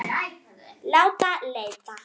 Láta leita.